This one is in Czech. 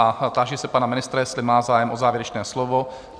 A táži se pana ministra, jestli má zájem o závěrečné slovo?